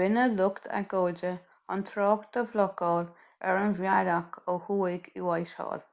rinne lucht agóide an trácht a bhlocáil ar an bhealach ó thuaidh i whitehall